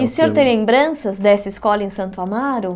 E o senhor tem lembranças dessa escola em Santo Amaro?